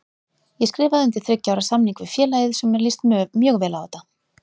Ég skrifaði undir þriggja ára samning við félagið svo mér líst mjög vel á þetta.